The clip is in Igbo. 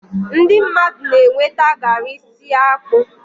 ndị mmadụ na-enweta garri si akpu